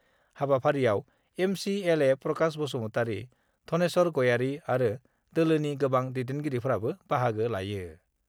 हाबाफारियाव M C L A Prakash Basumatary, Dhaneswar Gayari आरो दोलोनि गोबां दैदेनगिरिफोराबो बाहागो लायो।